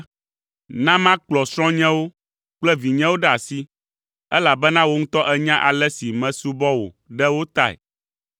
Na makplɔ srɔ̃nyewo kple vinyewo ɖe asi, elabena wò ŋutɔ ènya ale si mesubɔ wò ɖe wo tae.”